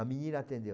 A menina atendeu.